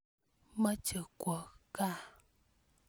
Moche kwo kaa.